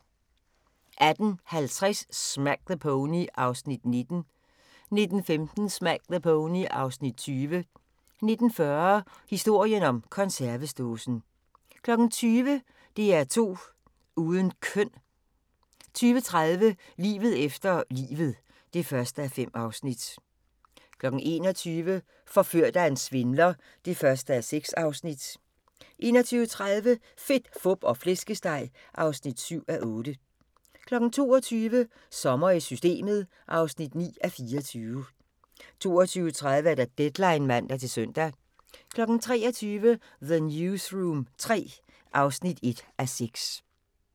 18:50: Smack the Pony (Afs. 19) 19:15: Smack the Pony (Afs. 20) 19:40: Historien om konservesdåsen 20:00: DR2 uden køn 20:30: Livet efter livet (1:5) 21:00: Forført af en svindler (1:6) 21:30: Fedt, fup og flæskesteg (7:8) 22:00: Sommer i Systemet (9:24) 22:30: Deadline (man-søn) 23:00: The Newsroom III (1:6)